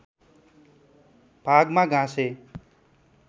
भागमा घाँसे